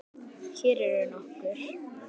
Hér eru nokkur